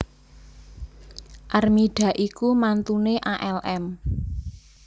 Armida iku mantune alm